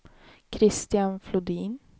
Christian Flodin